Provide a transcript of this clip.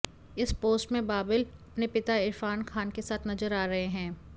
इस पोस्ट में बाबिल अपने पिता इरफान खान के साथ नजर आ रहे हैं